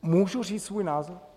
Můžu říct svůj názor?